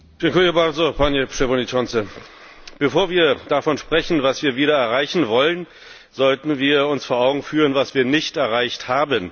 Herr Präsident! Bevor wir davon sprechen, was wir wieder erreichen wollen, sollten wir uns vor Augen führen, was wir nicht erreicht haben.